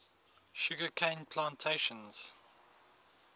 sugar cane plantations